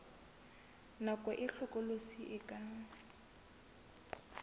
nako e hlokolosi e ka